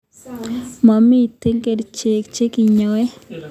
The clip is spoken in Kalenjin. Mamitei kerchek che kinyae